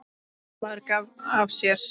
Hvað maður gaf af sér.